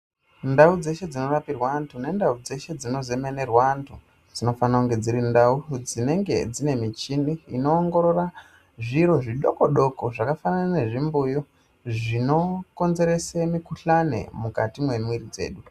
Ndau dzeshe dzinorapirwa antu nendau dzeshe dzinozemenerwa antu dzinofanire kunge dziri ndau dzine michini inoongorora zviro zvidoko doko zvakafanana nembuyu zvinokodzerese mikhuhlani mukati mwemwiri dzedu.